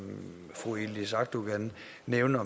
fru yildiz akdogan nævner